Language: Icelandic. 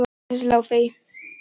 Laufey